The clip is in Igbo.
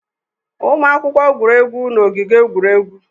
Ụmụ akwụkwọ gwuru egwu n'ogige egwuregwu.